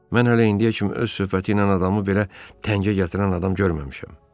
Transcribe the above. Mən hələ indiyə kimi öz söhbəti ilə adamı belə təngə gətirən adam görməmişəm.